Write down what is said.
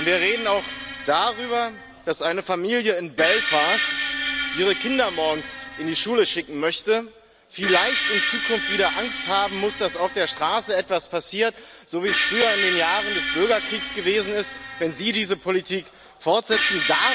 Und wir reden auch darüber, dass eine Familie in Belfast, die ihre Kinder morgens in die Schule schicken möchte, vielleicht in Zukunft wieder Angst haben muss, dass auf der Straße etwas passiert, so wie es früher in den Jahren des Bürgerkriegs gewesen ist, wenn Sie diese Politik fortsetzen.